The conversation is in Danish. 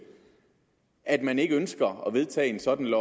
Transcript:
at man ikke ønsker at vedtage en sådan